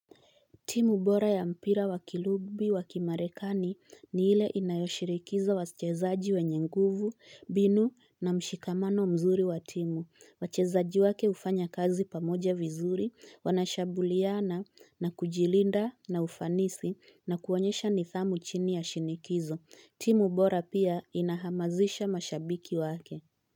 Timu bora ya mpira wa kirugby wa kimarekani ni ile inayoshirikisha wachezaji wenye nguvu, mbinu na mshikamano mzuri wa timu. Wachezaji wake ufanya kazi pamoja vizuri, wanashabuliana na kujilinda na ufanisi na kuonyesha nidhamu chini ya shinikizo. Timu bora pia inahamazisha mashabiki wake.